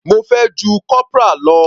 Mo fẹ́ ju corporal lọ.